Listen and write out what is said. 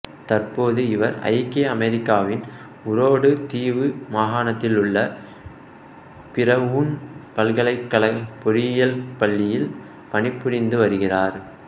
தற்போது இவர் ஐக்கிய அமெரிக்காவின் உரோடு தீவு மாகாணத்திலுள்ள பிரவுன் பல்கலைக்கழக பொறியியல் பள்ளியில் பணிபுரிந்து வருகிறார்